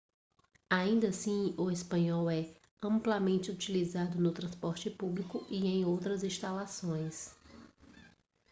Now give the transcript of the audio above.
ainda assim o espanhol é amplamente utilizado no transporte público e em outras instalações